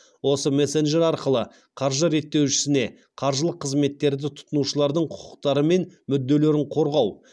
осы мессенджер арқылы қаржы реттеушісіне қаржылық қызметтерді тұтынушылардың құқықтары мен мүдделерін қорғау